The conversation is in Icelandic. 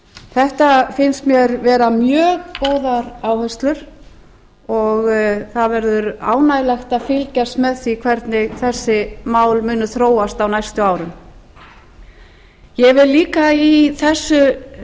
þetta finnst mér vera mjög góðar áherslur og það verður ánægjulegt að fylgjast með því hvernig þessi mál muni þróast á næstu árum ég vil líka í þessu